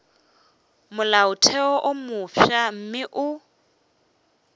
molaotheo wo mofsa mme o